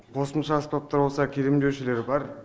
қосымша аспаптар болса келем деушілер бар